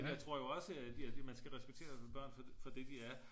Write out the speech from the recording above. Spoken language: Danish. Men jeg tror jo også at man skal respektere børn for det de er